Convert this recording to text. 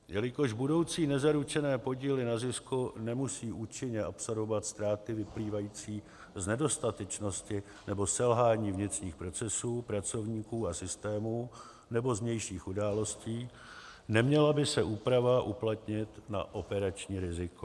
Jelikož budoucí nezaručené podíly na zisku nemusí účinně absorbovat ztráty vyplývající z nedostatečnosti nebo selhání vnitřních procesů, pracovníků a systémů nebo z vnějších událostí, neměla by se úprava uplatnit na operační riziko.